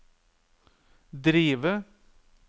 drive